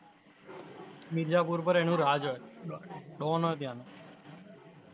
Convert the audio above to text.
મિરઝાપુર ઉપર એનું રાજ હોઇ. ડો don હોઇ ત્યાનો.